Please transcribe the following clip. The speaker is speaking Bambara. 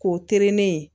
K'o tɛrɛ ne ye